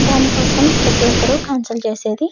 దీనికోసం ప్రతి ఒక్కరు కన్సల్ట్ చేసేది --